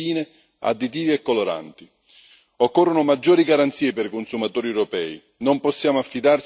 Occorrono maggiori garanzie per i consumatori europei, non possiamo affidarci unicamente al sistema di allerta europeo.